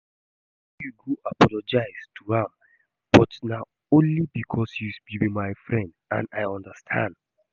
I go follow you go apologise to am but na only because say you be my friend and I understand